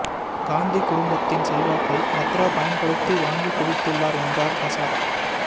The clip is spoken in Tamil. காந்தி குடும்பத்தின் செல்வாக்கை வத்ரா பயன்படுத்தி வாங்கிக் குவித்துள்ளார் என்றார் பிரசாத்